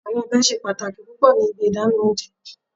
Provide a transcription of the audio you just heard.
Awọn ọbẹ ṣe pataki pupọ ni ibi idana ounjẹ